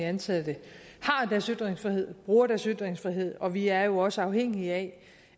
ansatte har deres ytringsfrihed bruger deres ytringsfrihed og vi er jo også afhængige af